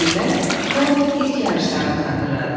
Birdən Tod ilk yarışlarını xatırladı.